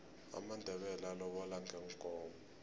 amandebele alobola ngeenkomo